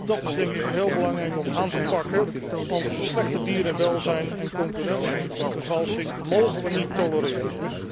dat is denk ik heel belangrijk om aan te pakken, want een verslechterd dierenwelzijn en concurrentievervalsing mogen we niet tolereren.